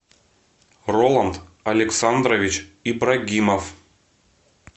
роланд александрович ибрагимов